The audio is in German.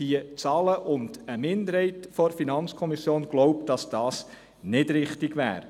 Eine Minderheit der FiKo glaubt, dass das nicht richtig wäre.